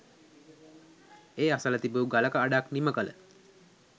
ඒ අසල තිබූ ගලක අඩක් නිමකළ